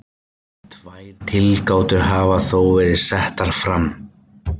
Tvær tilgátur hafa þó verið settar fram.